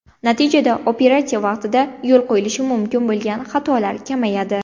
Natijada operatsiya vaqtida yo‘l qo‘yilishi mumkin bo‘lgan xatolar kamayadi.